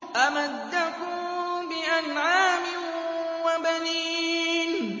أَمَدَّكُم بِأَنْعَامٍ وَبَنِينَ